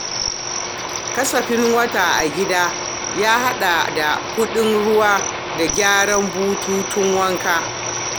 Kasafin wata na gida ya haɗa da kuɗin ruwa da gyaran bututun wanka.